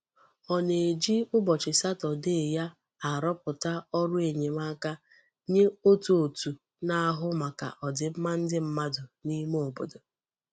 O na-eji ubochi Saturday ya aroputa oru enyemaka nye otu òtû na-ahu maka odimma ndi mmadu n'ime obodo.